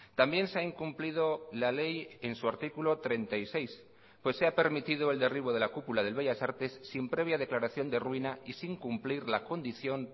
también se ha incumplido la ley en su artículo treinta y seis pues se ha permitido el derribo de la cúpula del bellas artes sin previa declaración de ruina y sin cumplir la condición